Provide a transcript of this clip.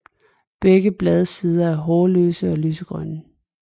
Begge bladsider er hårløse og lysegrønne